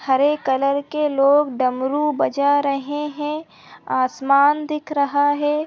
हरे colour के लोग डमरु बजा रहे हैं आसमान दिख रहा है।